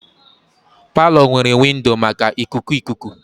Palọ nwere windo maka ikuku ikuku